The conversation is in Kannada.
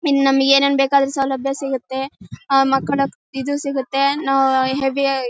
ಮಿನ್ ನಮಿಗ್ ಏನ್ ಏನ್ ಬೇಕ್ ಅದ್ರ್ ಸೌಲಭ್ಯ ಸಿಗತ್ತೆ ಅಹ್ ಮಾಕೋಣಕ್ಕೆ ಇದು ಸಿಗತ್ತೆ ನೋ ಹೆವಿ --